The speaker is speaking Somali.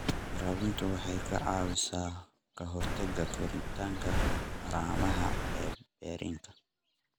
Waraabinta waxay ka caawisaa ka hortagga koritaanka haramaha ee berrinka.